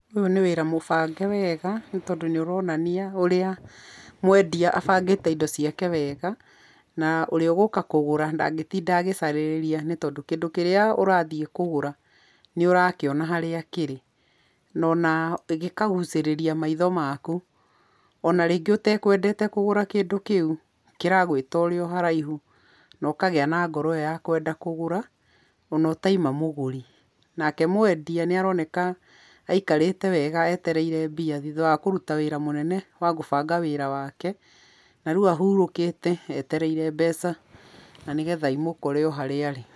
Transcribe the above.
Ũyũ nĩ wĩra mũbange wega nĩ tondũ nĩ ũronania ũrĩa mwendia abangĩte wega na ũrĩa ũgũka kũgũra ndangĩtinda agĩcarĩrĩria tondũ kĩndũ kĩrĩa ũrathiĩ kũgũra nĩ ũrakĩona harĩ kĩrĩ no o na akagucĩrĩria maitho maku, o na rĩngĩ ũtekwendete kũgũra kĩndũ kĩu kĩragwĩta ũrĩ o haraihu na ũkagĩa na ngoro ĩ yo ya kwenda kũgũra o na ũtaima mũgũri. Nake mwendia nĩ aroneka aĩkarĩte wega etereire mbia thutha wa kũruta wĩra mũnene wa kũbanga wĩra wake, na rĩũ ahurũkĩte etereire mbeca na nĩgetha imũkore o harĩa arĩ.